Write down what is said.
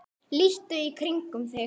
líttu í kringum þig